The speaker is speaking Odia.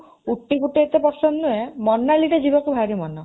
ଉଟ୍ଟି ଏତେ ପସନ୍ଦ ନୁହେଁ, ମନାଲି ଟା ଯିବାକୁ ଭାରି ମନ।